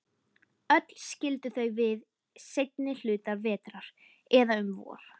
Öll skildu þau við seinni hluta vetrar, eða um vor.